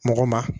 Mɔgɔ ma